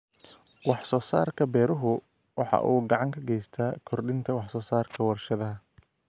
Wax soo saarka beeruhu waxa uu gacan ka geystaa kordhinta wax soo saarka warshadaha.